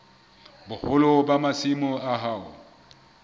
boholo ba masimo a hao